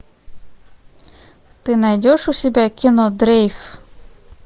ты найдешь у себя кино дрейф